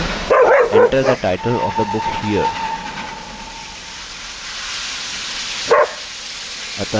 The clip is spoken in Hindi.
ध्यान दीजिये कि एक tool tip दिखेगी जो कहेगी enter the title of the book here